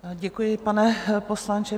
Děkuji, pane poslanče.